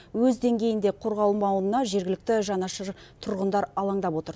өз деңгейінде қорғалмауына жергілікті жанашыр тұрғындар алаңдап отыр